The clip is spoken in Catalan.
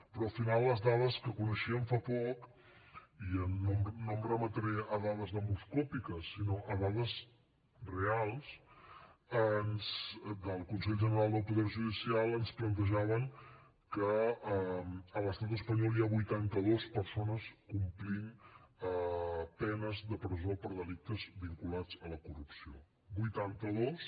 però al final les dades que coneixíem fa poc i no em remetré a dades demoscòpiques sinó a dades reals del consell general del poder judicial ens plantejaven que a l’estat espanyol hi ha vuitanta dos persones complint penes de presó per delictes vinculats a la corrupció vuitanta dos